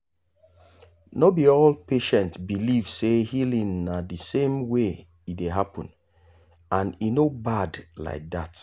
no be all patient believe say healing na the same way e dey happen and e no bad like that.